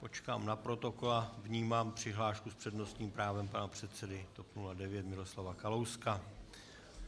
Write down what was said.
Počkám na protokol a vnímám přihlášku s přednostním právem pana předsedy TOP 09 Miroslava Kalouska.